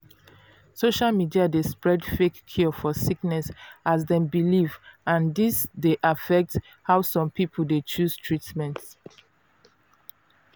social media dey spread fake cure for sickness as dem belief and dis d affect how some people dey chose treatment.